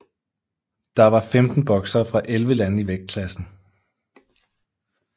Der var 15 boksere fra 11 lande i vægtklassen